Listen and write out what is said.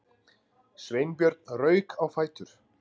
Sveinbjörn rauk á fætur.